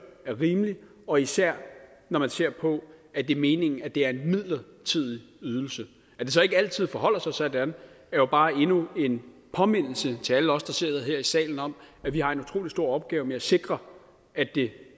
er rimelig og især når man ser på at det er meningen at det er en midlertidig ydelse at det så ikke altid forholder sig sådan er jo bare endnu en påmindelse til alle os der sidder her i salen om at vi har en utrolig stor opgave med at sikre at det